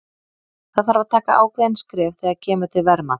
Það þarf að taka ákveðin skref þegar kemur til verðmats.